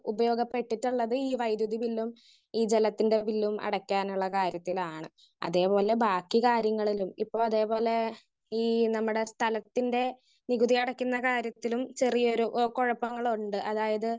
Speaker 1 ഉപയോഗിക്കപ്പെട്ടിട്ടുള്ളത് ഈ വൈദ്യുതി ബില്ലും ഈ വെള്ളത്തിന്റെ ബില്ലും അടക്കാനുള്ള കാര്യത്തിലാണ്. അതെ പോലെ ബാക്കി കാര്യങ്ങളിലും ഇപ്പൊ അതെ പോലെ ഈ നമ്മുടെ സ്ഥലത്തിന്റെ നികുതി അടക്കുന്ന കാര്യത്തിലും ചെറിയൊരു കുഴപ്പങ്ങളുണ്ട്. അതായത്